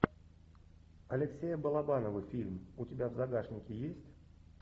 алексея балабанова фильм у тебя в загашнике есть